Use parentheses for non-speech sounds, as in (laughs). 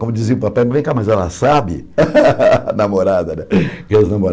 Como dizia o papai, vem cá, mas ela sabe, (laughs) a namorada, né? E as